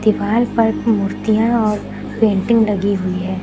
दीवाल पर मूर्तियां और पेंटिंग लगी हुई है।